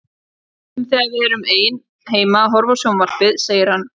Stundum þegar við erum ein heima að horfa á sjónvarpið segir hann